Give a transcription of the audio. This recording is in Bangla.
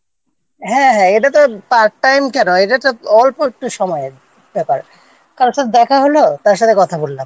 হ্যাঁ হ্যাঁ এটা তো Part time কেন এটা তো অল্প একটু সময়ের ব্যাপার কারোর সাথে দেখা হল তার সঙ্গে কথা বললাম